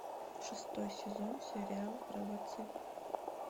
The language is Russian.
шестой сезон сериал робоцып